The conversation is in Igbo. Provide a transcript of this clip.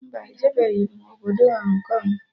Mba, ejebeghi m obodo Hong Kong